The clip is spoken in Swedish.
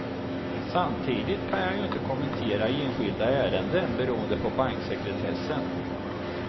Samtidigt kan jag ju inte kommentera enskilda ärenden beroende på banksekretessen.